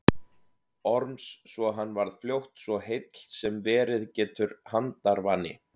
Orms svo hann varð fljótt svo heill sem verið getur handarvani.